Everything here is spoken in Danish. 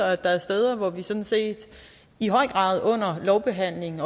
at der er steder hvor vi sådan set i høj grad under lovbehandlingen